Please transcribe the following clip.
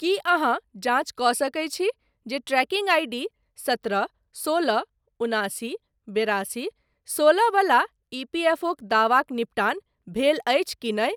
की अहाँ जाँच कऽ सकैत छी जे ट्रैकिंग आईडी सत्रह सोलह उनासी बेरासी सोलह बला ईपीएफओक दावाक निपटान भेल अछि कि नहि?